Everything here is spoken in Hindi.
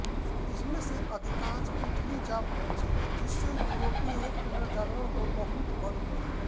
इनमें से अधिकांश इटली जा पहुँचे जिससे यूरोपीय पुनर्जागरण को बहुत बल मिला